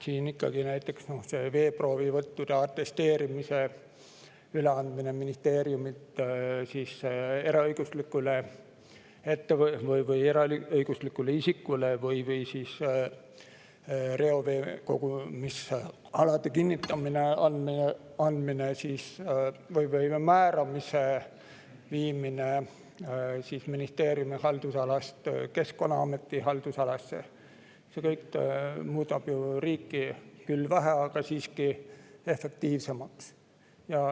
Näiteks veeproovivõttude atesteerimise üleandmine ministeeriumilt eraõiguslikule isikule või reoveekogumisalade määramise viimine ministeeriumi haldusalast Keskkonnaameti haldusalasse – see kõik muudab ju riiki küll vähe, aga see muudab teda siiski efektiivsemaks.